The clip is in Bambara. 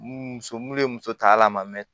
Muso minnu ye muso tala ma mɛn